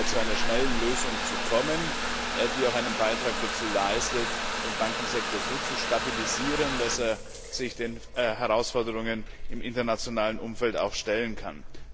zu einer schnellen Lösung zu kommen, die auch einen Beitrag dazu leistet, den Bankensektor so zu stabilisieren, dass er sich den Herausforderungen im internationalen Umfeld stellen kann.